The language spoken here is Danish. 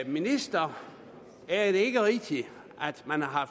ministeren er det ikke rigtigt at man har